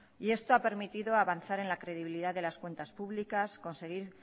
y esto ha permitido avanzar en la credibilidad de las cuentas públicas conseguir